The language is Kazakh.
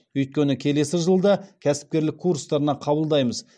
өйткені келесі жылы да кәсіпкерлік курстарына қабылдаймыз